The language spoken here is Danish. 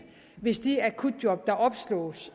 hvis de akutjob der opslås